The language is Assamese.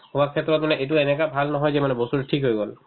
work ক্ষেত্ৰত মানে এইটো এনেকে ভাল নহয় যে মানে বস্তুতো ঠিক হৈ গ'ল